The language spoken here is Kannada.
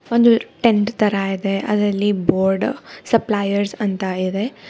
ಒಂದು ಟೆಂಟ್ ತರ ಇದೆ ಅದ್ರಲ್ಲಿ ಬೋರ್ಡ್ ಸಪ್ಲಾಯರ್ ಅಂತ ಇದೆ.